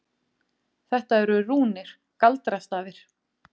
Þetta eru rúnir. galdrastafir.